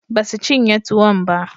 Ba su cinye tuwon ba.